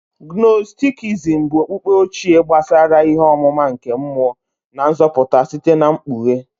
Gnostikism bụ okpukpe ochie gbasara ihe ọmụma nke mmụọ na nzọpụta site na mkpughe.